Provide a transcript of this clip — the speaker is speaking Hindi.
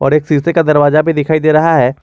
और एक शीशे का दरवाजा भी दिखाई दे रहा है।